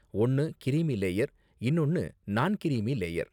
ஒன்னு creamy layer இன்னொன்னு non creamy layer.